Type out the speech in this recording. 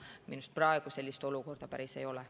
Minu arust praegu sellist olukorda päris ei ole.